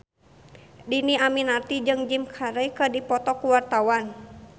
Dhini Aminarti jeung Jim Carey keur dipoto ku wartawan